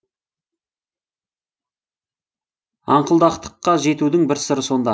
аңқылдақтыққа жетудің бір сыры сонда